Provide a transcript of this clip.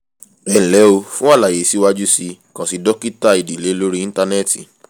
ẹnlẹ́ o fún àlàyé síwájú sí i kàn sí dókítà ìdílé lórí íńtánẹ́ẹ̀tì